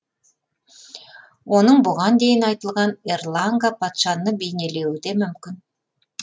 оның бұған дейін айтылған эрланга патшаны бейнелеуі де мүмкін